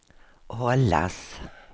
hållas